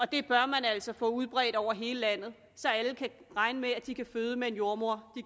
det bør man altså få udbredt over hele landet så alle kan regne med at de kan føde med en jordemoder